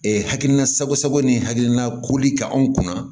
hakilina sago sago ni hakilina koli ka anw kunna